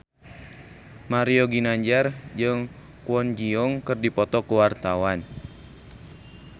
Mario Ginanjar jeung Kwon Ji Yong keur dipoto ku wartawan